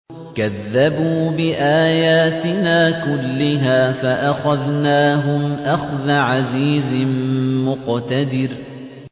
كَذَّبُوا بِآيَاتِنَا كُلِّهَا فَأَخَذْنَاهُمْ أَخْذَ عَزِيزٍ مُّقْتَدِرٍ